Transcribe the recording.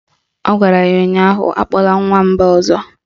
Ọ gwara ya ụnyaahụ "Akpọla m Nwamba ọzọ"!